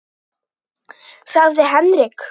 sagði Henrik.